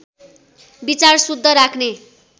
विचार शुद्ध राख्ने